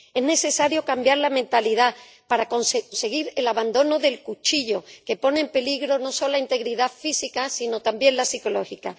Es necesario cambiar la mentalidad para conseguir el abandono del cuchillo, que pone en peligro no solo la integridad física sino también la psicológica.